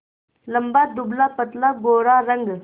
लंबा दुबलापतला गोरा रंग